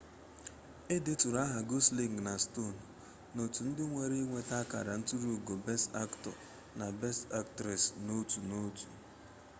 e deturu aha gosling na stone n'otu ndị nwere ịnweta akara nturu ugo best aktọ na best aktres n'otu n'otu